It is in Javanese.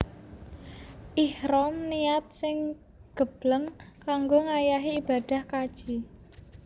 Ihram niat sing gebleng kanggo ngayahi ibadah kaji